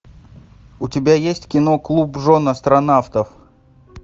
у тебя есть кино клуб жен астронавтов